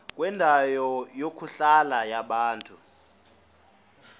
kwendawo yokuhlala yabantu